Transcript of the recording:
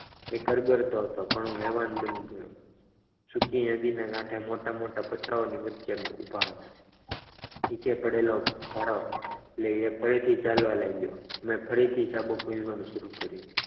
એ અગર તો હતો પણ હું હેવાન બની ગયો જોકે એ નદીના મોટા-મોટા પતરાઓની વચ્ચે ઊભા હતા નીચે પડેલો ભારો લઈ એ ફરીથી ચાલવા લાગ્યો મેં ફરીથી ચાબુક વિઝવાનું શરૂ કર્યું.